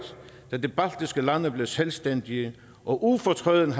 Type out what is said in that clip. da de baltiske lande blev selvstændige og ufortrødent